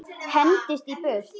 Hendist í burtu.